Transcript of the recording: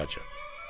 "Çox əcəb."